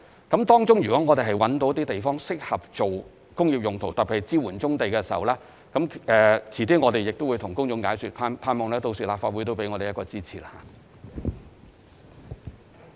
如果我們在該等地區覓得地方適合作工業用途，特別是支援棕地作業，我們會向公眾解說，希望立法會屆時會予以支持。